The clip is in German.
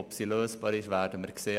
Ob sie lösbar ist, werden wir sehen.